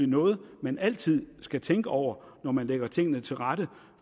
noget man altid skal tænke over når man lægger tingene til rette